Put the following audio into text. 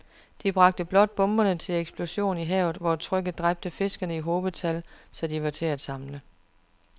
De bragte blot bomberne til eksplosion i havet, hvor trykket dræbte fiskene i hobetal, så de var til at samle